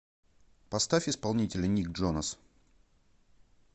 поставь исполнителя ник джонас